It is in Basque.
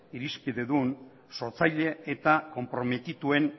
irizpidedun sortzaile eta konprometituen